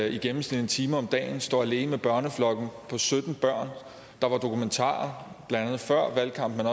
i gennemsnit en time om dagen står alene børneflok på sytten børn der var dokumentarer før valgkampen